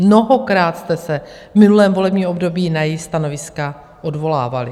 Mnohokrát jste se v minulém volebním období na její stanoviska odvolávali.